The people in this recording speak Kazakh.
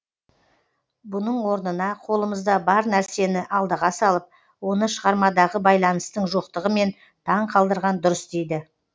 бұның орнына қолымызда бар нәрсені алдыға салып оны шығармадағы байланыстың жоқтығымен таң қалдырған дұрыс дейді